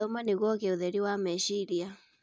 Thoma nĩguo kũgĩa ũtheri wa meciria.